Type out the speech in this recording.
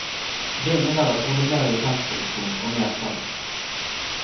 Det innebærer trolig mer lisensproduksjon og mer salg.